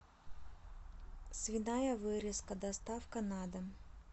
свиная вырезка доставка на дом